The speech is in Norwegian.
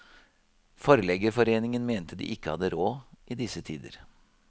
Forleggerforeningen mente de ikke hadde råd i disse tider.